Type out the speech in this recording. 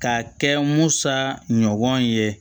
Ka kɛ musa ɲɔgɔn ye